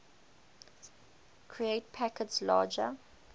create packets larger